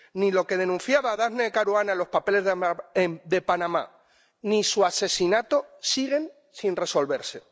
Lo que denunciaba Daphne Caruana en los papeles de Panamá y su asesinato siguen sin resolverse.